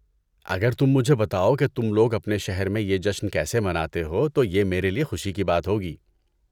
اگر تم مجھے بتاؤ کہ تم لوگ اپنے شہر میں یہ جشن کیسے مناتے ہو تو یہ میرے لیے خوشی کی بات ہوگی۔